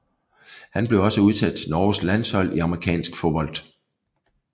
Han blev også udtaget til norges landshold i amerikansk fodbold